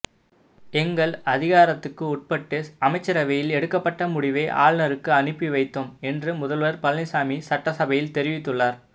எங்கள் அதிகாரத்துக்கு உட்பட்டு அமைச்சரவையில் எடுக்கப்பட்ட முடிவை ஆளுநருக்கு அனுப்பி வைத்தோம் என்று முதல்வர் பழனிசாமி சட்டசபையில் தெரிவித்துள்ளார்